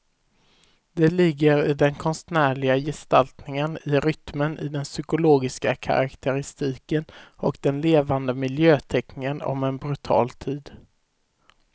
Det ligger i den konstnärliga gestaltningen, i rytmen, i den psykologiska karaktäristiken och den levande miljöteckningen om en brutal tid.